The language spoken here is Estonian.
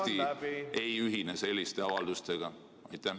Miks Eesti ei ühine selliste avaldustega?